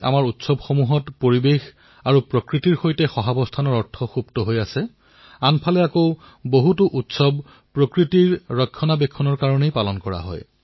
আমাৰ উৎসৱসমূহত পৰিবেশ আৰু প্ৰকৃতিৰ সৈতে সহজীৱনৰ বাৰ্তা লুকাই থকাৰ বিপৰীতে আনফালে বহু উৎসৱ প্ৰকৃতিৰ সুৰক্ষাৰ বাবেও পালন কৰা হয়